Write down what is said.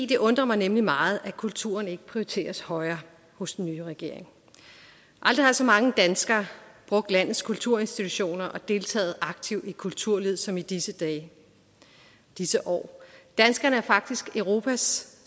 det undrer mig nemlig meget at kulturen ikke prioriteres højere hos den nye regering aldrig har så mange danskere brugt landets kulturinstitutioner og deltaget aktivt i kulturlivet som i disse dage disse år danskerne er faktisk europas